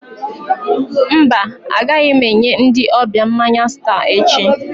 Mba, agaghị m enye ndị ọbịa mmanya Star echi.